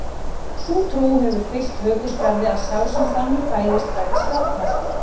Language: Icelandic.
Sú trú hefur fylgt hökuskarði að sá sem þannig fæðist verði skáldmæltur.